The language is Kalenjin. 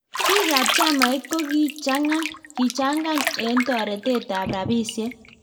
Biik ab chamait kokichangan eng toretet ab rabisiek